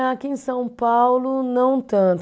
Aqui em São Paulo não tanto.